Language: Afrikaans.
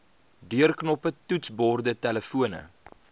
deurknoppe toetsborde telefone